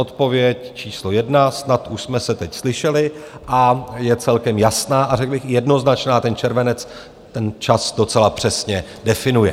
Odpověď číslo jedna, snad už jsme se teď slyšeli, a je celkem jasná a řekl bych jednoznačná, ten červenec ten čas docela přesně definuje.